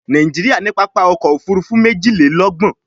Nàìjíríà ní pápá ọkọ̀-òfurufú méjìlélọ́gbọ̀n